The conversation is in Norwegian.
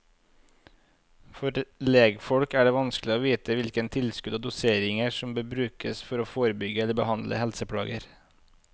For legfolk er det vanskelig å vite hvilke tilskudd og doseringer som bør brukes for å forebygge og behandle helseplager.